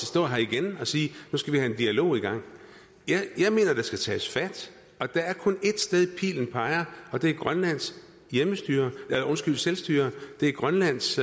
stå her igen og sige nu skal vi have en dialog i gang jeg mener der skal tages fat og der er kun ét sted pilen peger på det er grønlands selvstyre det er grønlands